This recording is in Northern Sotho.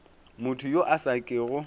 motho yo a sa kego